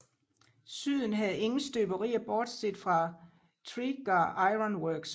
Syden havde ingen støberier bortset fra Tredegar Iron Works